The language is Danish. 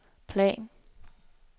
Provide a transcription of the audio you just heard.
plan